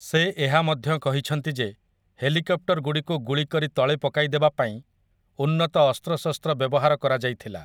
ସେ ଏହା ମଧ୍ୟ କହିଛନ୍ତି ଯେ ହେଲିକପ୍ଟରଗୁଡ଼ିକୁ ଗୁଳି କରି ତଳେ ପକାଇଦେବା ପାଇଁ ଉନ୍ନତ ଅସ୍ତ୍ରଶସ୍ତ୍ର ବ୍ୟବହାର କରାଯାଇଥିଲା ।